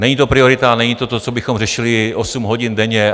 Není to priorita, není to to, co bychom řešili osm hodin denně.